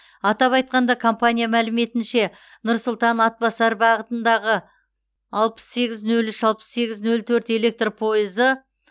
атап айтқанда компания мәліметінше нұр сұлтан атбасар бағытында алпыс сегіз нөл үш алпыс сегіз нөл төрт электр пойызы